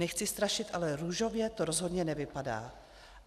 Nechci strašit, ale růžově to rozhodně nevypadá.